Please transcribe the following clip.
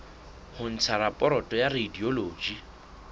ho ntsha raporoto ya radiology